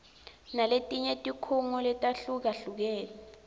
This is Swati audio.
naletinye tikhungo letahlukahlukene